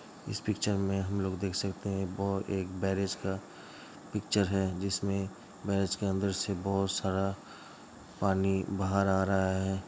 इस पिच्चर में हम लोग देख सकते हैं| एक ब्रिज का पिच्चर है जिसमें ब्रिज के अंदर से बहुत सारा पानी बाहर आ रहा है।